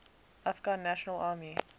afghan national army